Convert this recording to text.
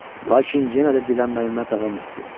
Lakin yenə də dilənməyimə davam etdim.